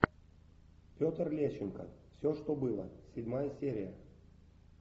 петр лещенко все что было седьмая серия